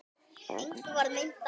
Engum varð meint af.